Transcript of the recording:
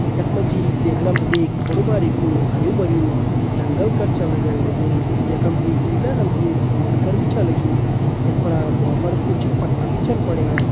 यक मजी देखणम एक बड़ु भारी कु हरियु भरियु जंगल कर छ लगण लग्युं। यखम एक पीला रंग कु बोल्ड कर भी छ लग्यूं। यक फणा भुआं पड़ कुछ पत्ता भी छन पड़यां।